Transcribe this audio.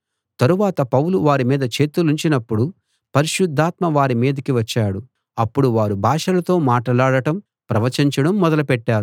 తరువాత పౌలు వారి మీద చేతులుంచినపుడు పరిశుద్ధాత్మ వారి మీదికి వచ్చాడు అప్పుడు వారు భాషలతో మాటలాడటం ప్రవచించడం మొదలుపెట్టారు